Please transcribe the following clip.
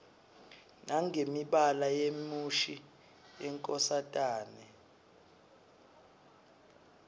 nangemibala yemushi yenkosatane